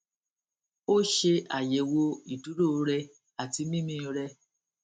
ó ṣè àyèwò ìdúró rẹ àti mímí rẹ